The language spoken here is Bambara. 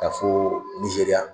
Taa foo nizeriya